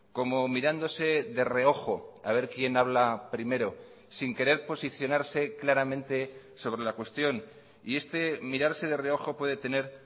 como mirándose de reojo a ver quién habla primero sin querer posicionarse claramente sobre la cuestión y este mirarse de reojo puede tener